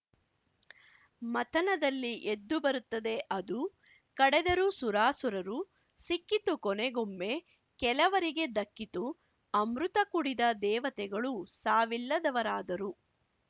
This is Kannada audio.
ಮಥನದಲ್ಲಿ ಎದ್ದು ಬರುತ್ತದೆ ಅದು ಕಡೆದರು ಸುರಾಸುರರು ಸಿಕ್ಕಿತು ಕೊನೆಗೊಮ್ಮೆ ಕೆಲವರಿಗೆ ದಕ್ಕಿತು ಅಮೃತ ಕುಡಿದ ದೇವತೆಗಳು ಸಾವಿಲ್ಲದವರಾದರು